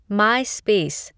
my space